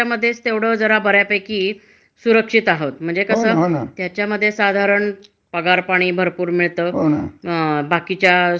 पैसे मिळता त्याच्यासाठी तुम्हाला, हो, घरभाड म्हणून अस काहीतरी देतात, किवा हे देतात म्हणजे तुम्हाला आता मुलांच्या शिक्षणाकरता देतात